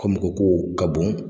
Ko mɔgɔ ko ka bon,